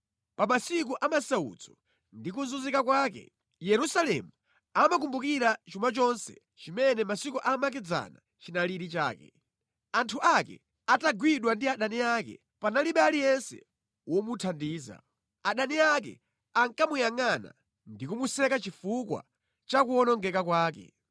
Pa masiku a masautso ndi kuzunzika kwake, Yerusalemu amakumbukira chuma chonse chimene mʼmasiku amakedzana chinali chake. Anthu ake atagwidwa ndi adani ake, panalibe aliyense womuthandiza. Adani ake ankamuyangʼana ndi kumuseka chifukwa cha kuwonongeka kwake.